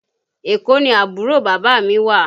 Èkó ni àbúrò bàbá mi wà